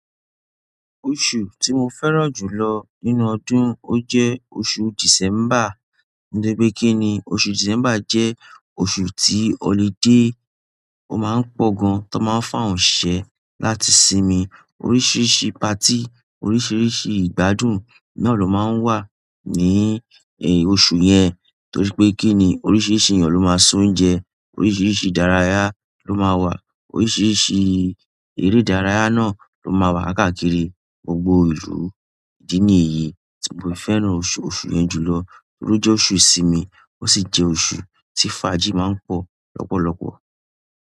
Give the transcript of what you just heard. Oṣù tí mo fẹ́ràn jù lọ nínú ọdún, ó jẹ́ oṣù December. Nítorí pé kí ni, oṣù December jẹ́ oṣù tí ọludé máa ń pọ̀ gan, tó máa ń fún àwọn òǹṣisẹ láti sinmi. Oríṣiríṣi patí, oríṣiríṣi ìgbádùn na lọ máa ń wà ní, ẹ, oṣù yẹn. Torí pé kí ni, oríṣiríṣi èyan ló máa ń se oúnjẹ, oríṣiríṣi ìdárayá ló máa wà, oríṣiríṣi eré ìdárayá náà ló máa wà káàkiri gbogbo ìlú. Idi niyi ti mo fi fẹ́ràn oṣù yẹn ju lo. Torí o jẹ́ oṣù ìsinmi ó sì jẹ́ oṣù tí fàájì máa ń pọ̀ lọ́pọ̀lọpọ̀.